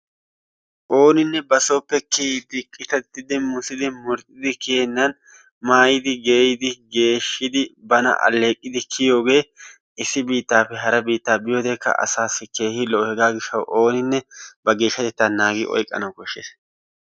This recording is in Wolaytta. Ooninne basooppe kiiyiidi qittattidi muussidi murxxidi kiyennan maayidi geeyidi geeshshidi bana alleeqidi kiyiyoogee issi biittaappe hara bittaa biyoodekka asaasi keehippe lo"o yaatiyoo giishshawu ooninne geeshshatettaa naagidi oyqanawu kooshshees.